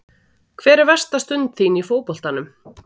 Hver er versta stund þín í fótboltanum?